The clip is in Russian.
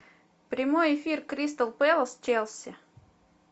прямой эфир кристал пэлас челси